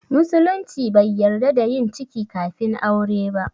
Musulunci bai yarda da yin ciki kafin aure ba